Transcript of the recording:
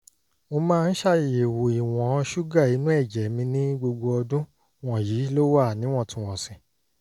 mo máa ń ṣàyẹ̀wò ìwọ̀n ṣúgà inú ẹ̀jẹ̀ mi ní gbogbo ọdún wọ̀nyí ló wà níwọ̀ntúnwọ̀nsì